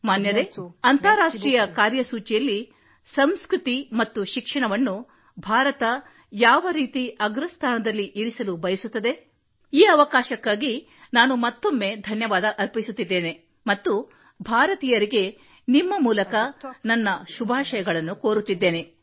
ಮಾನ್ಯರೇ ಅಂತಾರಾಷ್ಟ್ರೀಯ ಕಾರ್ಯಸೂಚಿಯಲ್ಲಿ ಸಂಸ್ಕೃತಿ ಮತ್ತು ಶಿಕ್ಷಣವನ್ನು ಭಾರತ ಅಗ್ರಸ್ಥಾನದಲ್ಲಿ ಯಾವರೀತಿ ಇರಿಸಲು ಬಯಸುತ್ತದೆ ಈ ಅವಕಾಶಕ್ಕಾಗಿ ನಾನು ಮತ್ತೊಮ್ಮೆ ಧನ್ಯವಾದ ಅರ್ಪಿಸುತ್ತಿದ್ದೇನೆ ಮತ್ತು ಭಾರತೀಯರಿಗೆ ನಿಮ್ಮ ಮೂಲಕ ನನ್ನ ಶುಭಾಶಯಗಳನ್ನು ಕೋರುತ್ತಿದ್ದೇನೆ